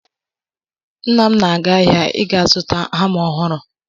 Nna m na-aga ahịa ị ga-zụta hama ọhụrụ.